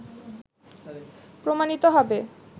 প্রমাণিত হবে